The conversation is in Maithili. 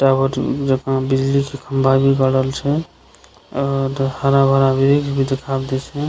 टावर जका बिजली के खम्बा भी गाड़ल छै और हरा-भरा ब्रिज भी देखाव दे छै।